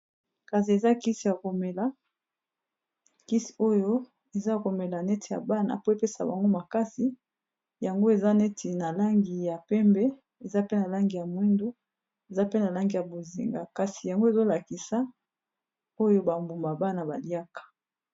Kasi eza kisi yako mela kisi oyo eza komela neti ya bana po epesa bango makasi yango eza neti na langi ya pembe eza pe na langi ya mwindu eza pe na langi ya bozinga kasi yango ezolakisa oyo ba mbuma bana baliaka.